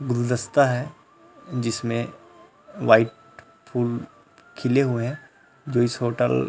गुरुदस्ता है जिसमें वाइट फूल खिले हुए हैं जो इस होटल --